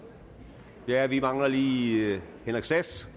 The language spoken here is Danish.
der indstilling vi mangler lige herre henrik sass